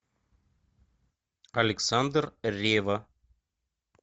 александр ревва